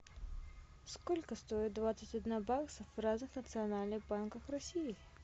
сколько стоит двадцать одна бакса в разных национальных банках россии